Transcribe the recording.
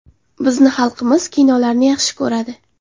Bizni xalqimiz kinolarni yaxshi ko‘radi.